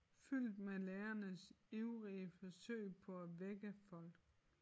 Fyldt med lærernes ivrige forsøg på at vække folk